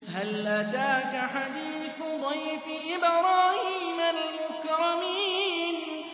هَلْ أَتَاكَ حَدِيثُ ضَيْفِ إِبْرَاهِيمَ الْمُكْرَمِينَ